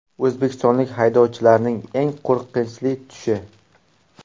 O‘zbekistonlik haydovchilarning eng qo‘rqinchli tushi.